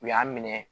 U y'a minɛ